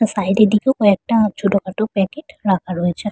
Side -এর দিকে কয়েকটা ছোটখাটো প্যাকেট রাখা রয়েছে ।